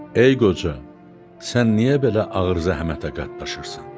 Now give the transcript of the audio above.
Ey qoca, sən niyə belə ağır zəhmətə qatlaşırsan?